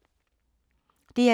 DR2